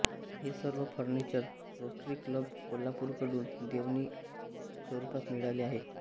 हे सर्व furniture Rotary club कोल्हापूरकडून देणगीस्वरूपात मिळाले आहे